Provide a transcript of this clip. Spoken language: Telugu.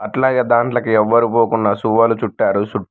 అట్లాగే దాంట్లోకి ఎవ్వరు పోకుండా సువ్వలు చుట్టారు